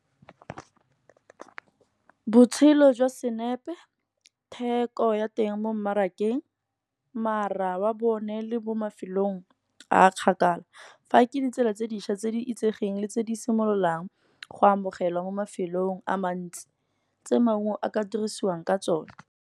Botshelo jwa senepe theko ya teng mo mmarakeng, mara wa bone le mo mafelong, a kgakala fa ke ditsela tse dišwa tse di itsegeng le tse di simololang, go amogelwa mo mafelong a mantsi, tse maungo a ka dirisiwang ka tsone.